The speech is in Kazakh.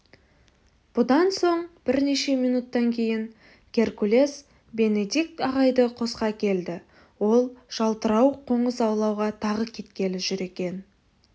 бұдан соң бірнеше минуттан кейін геркулес бенедикт ағайды қосқа әкелді ол жалтырауық қоңыз аулауға тағы кеткелі жүр екен